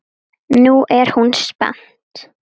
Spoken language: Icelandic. Nú er hún spennt.